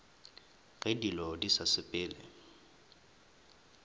ge dilo di sa sepele